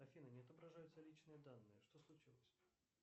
афина не отображаются личные данные что случилось